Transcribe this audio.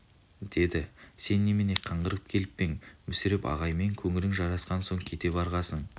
деді сен немене қаңғырып келіп пе ең мүсіреп ағаймен көңілің жарасқан соң кете барғасың